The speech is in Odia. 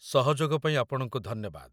ସହଯୋଗ ପାଇଁ ଆପଣଙ୍କୁ ଧନ୍ୟବାଦ